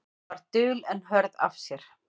Hún var dul en hörð af sér.